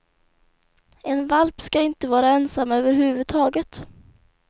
En valp ska inte vara ensam över huvud taget.